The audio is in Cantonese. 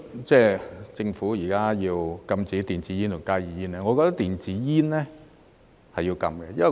政府現時要禁止電子煙及加熱煙，我覺得電子煙是要禁的。